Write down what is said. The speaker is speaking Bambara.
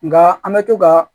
Nka an bɛ to ka